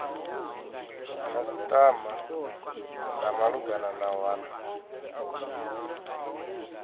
khasitama dza malugana na wana